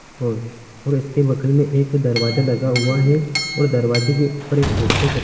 और और इसके बगल में एक दरवाजा लगा हुआ है और दरवाजे के ऊपर एक पोस्टर चप --